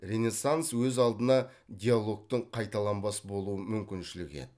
ренессанс өз алдына диалогтың қайталанбас болу мүмкіншілігі еді